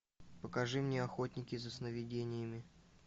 покажи мне охотники за сновидениями